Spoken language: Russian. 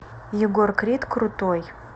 егор крид крутой